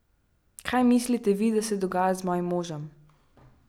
Kaj mislite vi, da se dogaja z mojim možem?